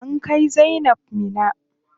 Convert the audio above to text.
An kai zainab Minna.